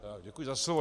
Děkuji za slovo.